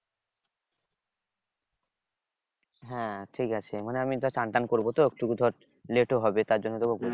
হ্যাঁ ঠিকাছে মানে আমি ধর চান টান করবো তো একটুকু ধর late ও হবে তার জন্য তোকে বললাম।